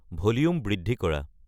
volume বৃদ্ধি কৰা